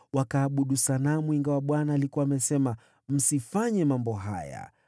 Wakaabudu sanamu, ingawa Bwana alikuwa amesema, “Msifanye mambo haya.”